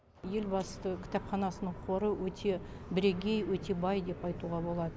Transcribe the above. елбасы кітапханасының қоры өте бірегей өте бай деп айтуға болады